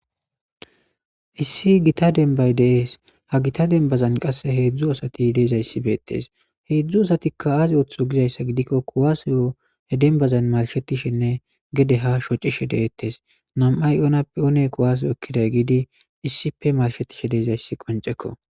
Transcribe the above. issi gita denbay dees ha gita denbazan qasse heedzdzu asati deezayssibeetes heedzdzu asatikka aaze ooththo gizayssa gidikko kuwasoyo he denbazan marshetishenne gede ha shocishe deettes nam7ay oonappi oone kuwaso ekkiday giidi issipe marshetishe deezayssi qoncekko